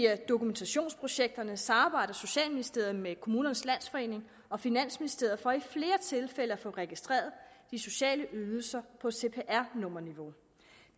dokumentationsprojekterne samarbejder socialministeriet med kommunernes landsforening og finansministeriet for i flere tilfælde at få registreret de sociale ydelser på cpr nummer niveau